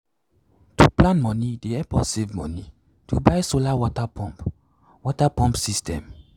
to plan money dey help us save money to buy solar water pump water pump system.